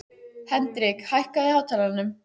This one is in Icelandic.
Hendrik, hækkaðu í hátalaranum.